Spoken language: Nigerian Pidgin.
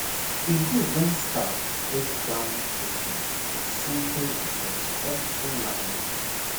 e good when staff break down treatment with simple and respectful language